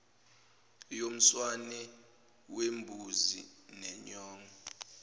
yomswane wembuzi nenyongo